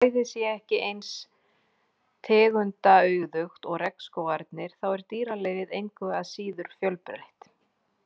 Þó svæðið sé ekki eins tegundaauðugt og regnskógarnir þá er dýralífið engu að síður fjölbreytt.